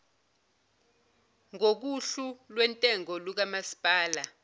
ngokohlu lwentengo lukamasipala